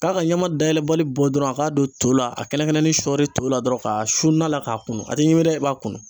K'a ka ɲama dayɛlɛbali bɔ dɔrɔn a k'a don to la a kɛnɛkɛnɛnin ni shɔɔri to la dɔrɔn ka su na la k'a kunu a tɛ ɲimi dɛ i b'a kunu.